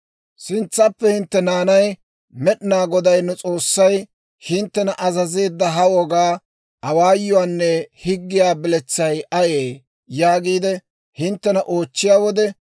«Sintsappe hintte naanay, Med'inaa Goday nu S'oossay hinttena azazeedda ha wogaa, awaayuwaanne higgiyaa biletsay ayee? yaagiide hinttena oochchiyaa wode,